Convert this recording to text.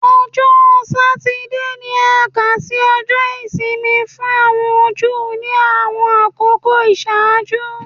Ọjọ Satidee ni a kà si Ọjọ isimi fun awọn Ju ni awọn akoko iṣaaju